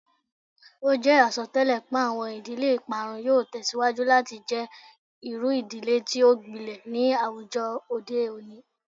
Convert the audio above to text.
O jẹ asọtẹlẹ pe awọn idile iparun yoo tẹsiwaju lati jẹ iru idile ti o gbilẹ ni awujọ ode oni